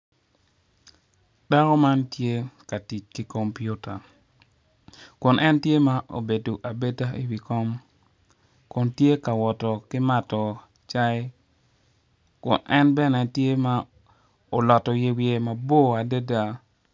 Dako man tye ka tic ki kompiuta kun en tye ma obedo abeda i wi kom kun tye ka woto ki mato cayi kun en bene tye ma oloto yer wiye mbor adada.